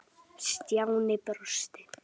Stjáni brosti.